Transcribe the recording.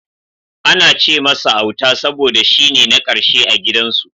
Ana ce masa Auta saboda shine na karshe a gidan su.